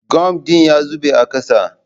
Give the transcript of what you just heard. Gum din ya zube a ƙasa